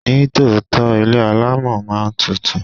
Ní tòótọ́, ilé alámọ̀ máa ń tutù.